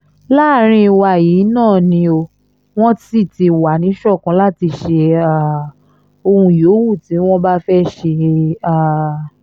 láàrín wa yìí náà ni o wọ́n sì ti wà níṣọ̀kan láti ṣe um ohun yòówù tí wọ́n bá fẹ́ẹ́ ṣe um